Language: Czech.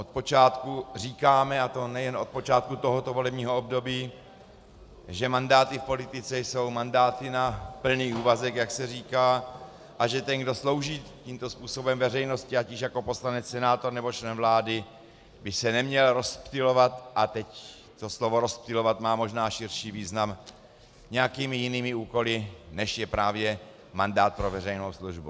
Od počátku říkáme, a to nejen od počátku tohoto volebního období, že mandáty v politice jsou mandáty na plný úvazek, jak se říká, a že ten, kdo slouží tímto způsobem veřejnosti, ať již jako poslanec, senátor, nebo člen vlády, by se neměl rozptylovat - a teď to slovo rozptylovat má možná širší význam - nějakými jinými úkoly, než je právě mandát pro veřejnou službu.